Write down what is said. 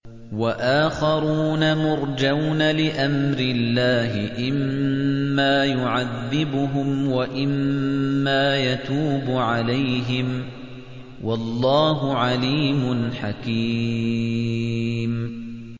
وَآخَرُونَ مُرْجَوْنَ لِأَمْرِ اللَّهِ إِمَّا يُعَذِّبُهُمْ وَإِمَّا يَتُوبُ عَلَيْهِمْ ۗ وَاللَّهُ عَلِيمٌ حَكِيمٌ